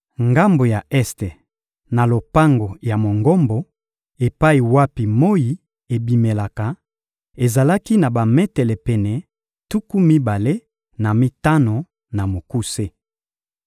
Ngambo ya este ya lopango ya Mongombo, epai wapi moyi ebimelaka, ezalaki na bametele pene tuku mibale na mitano na mokuse.